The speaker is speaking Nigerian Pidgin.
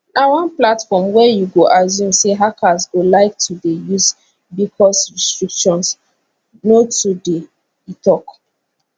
na one platform wey you go assume say hackers go like to dey use bicos restrictions no too dey e tok